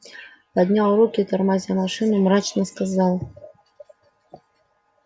поднял руки тормозя машину и мрачно сказал